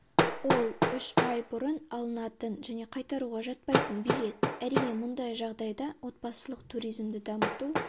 ол үш ай бұрын алынатын және қайтаруға жатпайтын билет әрине мұндай жағдайда отбасылық туризмді дамыту